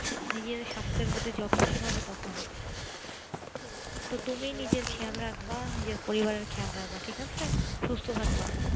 নিজের সাস্থের প্রতি যত্নসিল হবে তখনই তো তুমি নিজের খেয়াল রাখবে নিজের পরিবার এর খেয়াল রাখবা ঠিক আছে নিজে সুস্থ থাকবা